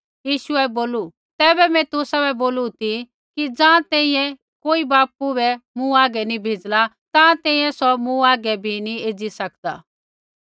यीशुऐ बोलू तैबै मैं तुसाबै बोलू ती कि ज़ाँ तैंईंयैं कोई बै बापू मूँ हागै नी भेज़ला ताँ तैंईंयैं सौ मूँ हागै बै नी एज़ी सकदा